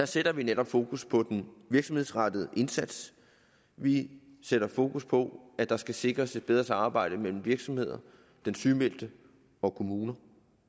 sætter vi netop fokus på den virksomhedsrettede indsats vi sætter fokus på at der skal sikres et bedre samarbejde mellem virksomheder den sygemeldte og kommuner